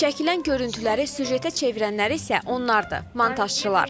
Çəkilən görüntüləri süjetə çevirənləri isə onlardır – montajçılar.